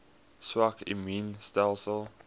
swak immuun stelsels